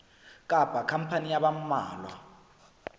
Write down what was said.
kapa khampani ya ba mmalwa